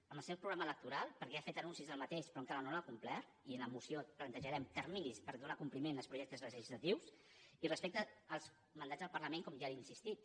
amb el seu programa electoral perquè ja n’ha fet anuncis però encara no l’ha complert i en la moció plantejarem terminis per donar compliment als projectes legislatius i respecte als mandats del parlament com ja li he insistit